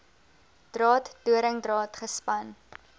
draad doringdraad gespan